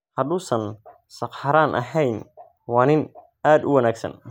Hadduusan sakhraan ahayn waa nin aad u wanaagsan.